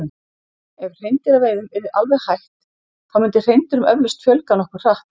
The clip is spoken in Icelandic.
Ef hreindýraveiðum yrði alveg hætt þá myndi hreindýrum eflaust fjölga nokkuð hratt.